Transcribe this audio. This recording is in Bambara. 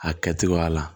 A kɛ cogoya la